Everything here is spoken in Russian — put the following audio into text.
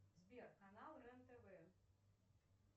сбер канал рен тв